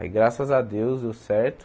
Aí graças a Deus deu certo.